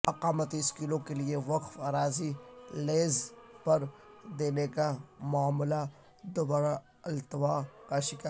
اقامتی اسکولوں کیلئے وقف اراضی لیز پر دینے کا معاملہ دوبارہ التوا کا شکار